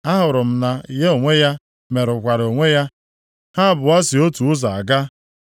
Ahụrụ m na ya onwe ya merụkwara onwe ya; ha abụọ si otu ụzọ aga.